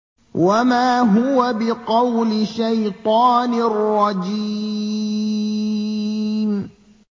وَمَا هُوَ بِقَوْلِ شَيْطَانٍ رَّجِيمٍ